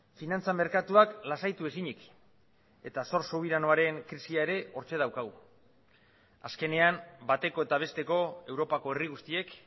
finantza merkatuak lasaitu ezinik eta zor subiranoaren krisia ere hortxe daukagu azkenean bateko eta besteko europako herri guztiek